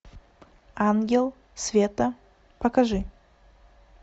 ангел света покажи